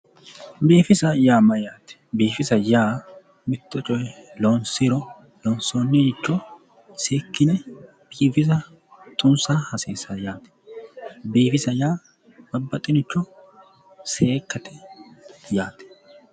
Biifisa yaa Mayyaate? Bifisa yaa mitto coye Lonisiro lonisoniricho seekkine biifisa xunisa hasiisawo yaate biifisa yaa babbaxeworicho seekkate yaate